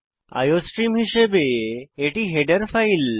iostream হিসাবে এটি header file